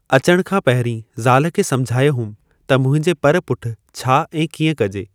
अचणु खां पहिरीं ज़ाल खे समुझायो होमि त मुंहिंजे पर पुठि छा ऐं कीअं कजे।